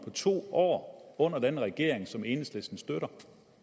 af to år under den her regering som enhedslisten støtter